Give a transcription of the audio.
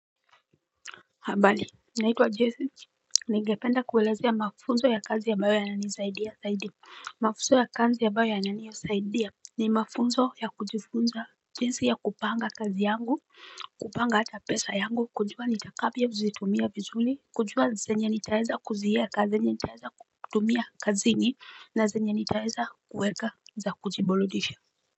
Habari naito wa jesi Nengependa kuelezea mafunzo ya kazi abayo yananisaidia saidi Mafunzo ya kazi abayo yananisaidia ni mafunzo ya kujifunza jinsi ya kupanga kazi yangu kupanga ata pesa yangu kujua nitakavyo zitumia vizuli kujua zenye nitaeza kuzieka zenye nitaeza kutumia kazini na zenye nitaeza kuweka za kujibuludisha.